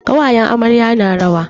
Ƙawayen amarya na rawa.